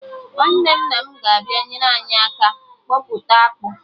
Nwanne nna m na-abịa enyere anyị aka kpọpụta akpụ